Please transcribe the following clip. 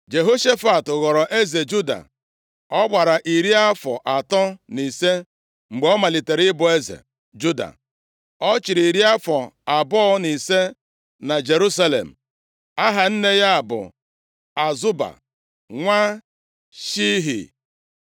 Jehoshafat ghọrọ eze juda. Ọ gbara iri afọ atọ na ise mgbe ọ malitere ịbụ eze Juda. Ọ chịrị iri afọ abụọ na ise na Jerusalem. Aha nne ya bụ Azuba, nwa Shilhi.